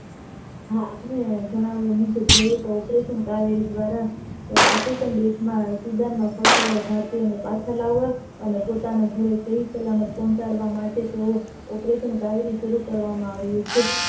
હા આપણે જણાવ્યા મુજબ જોઈએ તો આ ઓપરેશન કાર્ય દ્વારા african દેશ માં ભારતયો ને પાછા લાવવા અને પોતાના ઘરે સહીસલામત પહોંચાડવા તેવું operation કાર્ય શરુ કરવામાં આવ્યું છે